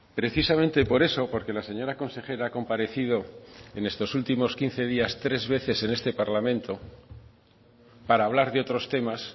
precisamente por eso porque la señora consejera ha comparecido en estos últimos quince días tres veces en este parlamento para hablar de otros temas